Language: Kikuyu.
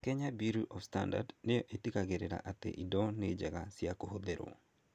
Kenya Bureau of Standards nĩyo ĩtigĩrĩra atĩ indo nĩ njega kũhũthĩrũo,